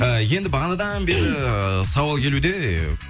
ы енді бағанадан бері сауал келуде